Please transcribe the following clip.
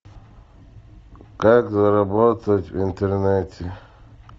как заработать в интернете